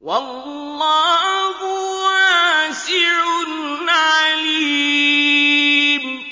وَاللَّهُ وَاسِعٌ عَلِيمٌ